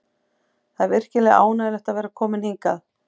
Það er virkilega ánægjulegt að vera kominn hingað.